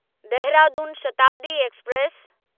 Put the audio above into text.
Dehradun Shatabdi express